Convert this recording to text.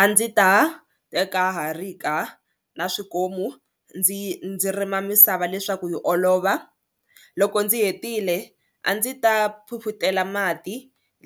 A ndzi ta teka harika na swikomu ndzi ndzi rima misava leswaku yi olova loko ndzi hetile a ndzi ta phuphutela mati